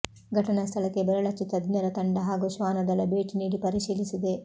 ಘಟನಾ ಸ್ಥಳಕ್ಕೆ ಬೆರಳಚ್ಚು ತಜ್ಞರ ತಂಡ ಹಾಗೂ ಶ್ವಾನ ದಳ ಭೇಟಿ ನೀಡಿ ಪರಿಶೀಲಿಸಿದೆ